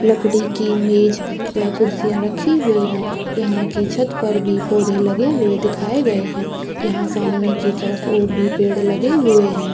लकड़ी की मेज व कुर्सियां रखी हुई है यहाँ के छत पर भी पौधे लगे हुए दिखाए गए है यहाँ सामने की तरफ और भी पौधे लगे हुए है।